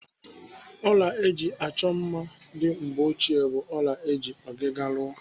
Ọla eji achọ mma ndị mgbeochie bụ ọla eji ọgịga rụọ.